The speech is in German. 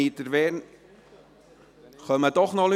Gibt es hierzu noch etwas zu sagen?